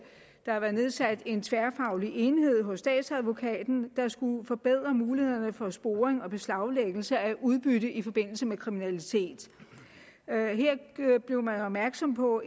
der har været nedsat en tværfaglig enhed hos statsadvokaten der skulle forbedre muligheden for sporing og beslaglæggelse af udbytte i forbindelse med kriminalitet her blev man opmærksom på